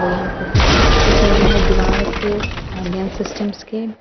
और यहां पर कुछ पिक्चर्स लगे हैं दिवार पे ऑनलाइन सिस्टम के और टेबल --